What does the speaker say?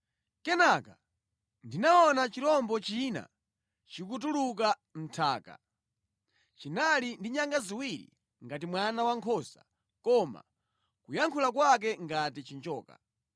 Kenaka ndinaona chirombo china chikutuluka mʼnthaka. Chinali ndi nyanga ziwiri ngati mwana wankhosa koma kuyankhula kwake ngati chinjoka.